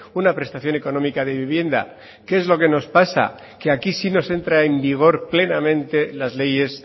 una prestación económica de vivienda que es lo que nos pasa que aquí sí nos entra en vigor plenamente las leyes